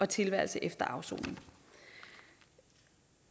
tilværelse efter afsoning